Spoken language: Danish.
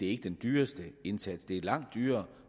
er den dyreste indsats det er langt dyrere